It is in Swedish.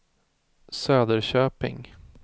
Söderköping